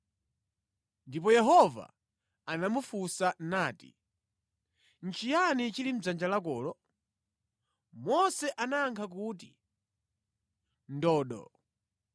Ndipo Yehova anamufunsa nati, “Nʼchiyani chili mʼdzanja lakolo?” Mose anayankha kuti, “Ndodo.”